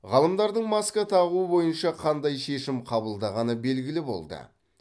ғалымдардың маска тағу бойынша қандай шешім қабылдағаны белгілі болды